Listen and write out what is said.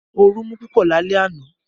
Ooru mú púpọ̀ lálẹ́ àná